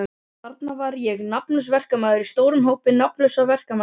Þarna var ég nafnlaus verkamaður í stórum hópi nafnlausra verkamanna.